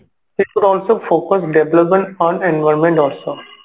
ସେଠୁ କଣ ହଉଛି ସବୁ focus development on environment also